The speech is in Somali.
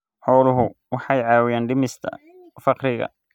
Xooluhu waxay caawiyaan dhimista faqriga.